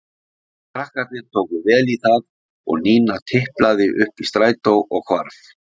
Krakkarnir tóku vel í það og Nína tiplaði upp í strætó og hvarf.